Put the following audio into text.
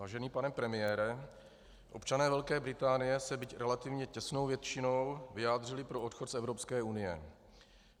Vážený pane premiére, občané Velké Británie se, byť relativně těsnou většinou, vyjádřili pro odchod z Evropské unie.